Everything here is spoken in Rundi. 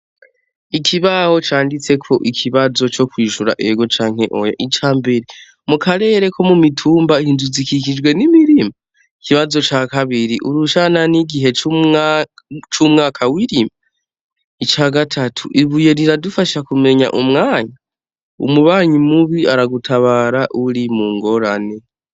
Ikibaho candisteko ikibazo co kwishura ego canke oya. Ica mbere: Mu karere ko mu mitimba, inzu zikikijwe n'imirima? Ikibazo ca kabiri: Urushana n'igihe c'umwaka wirima? Ica gatatu: Ibuye riradufasha kumenya umwanya ? Umubanyi mubi aragutabara uri mu ngorane.